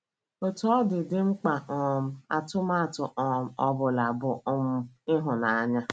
Otú ọ dị, dị mkpa karịa um atụmatụ um ọ bụla, bụ um ịhụnanya.